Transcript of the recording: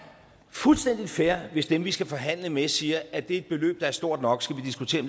fuldstændig fair hvis dem vi skal forhandle med siger er det et beløb der er stort nok skal vi diskutere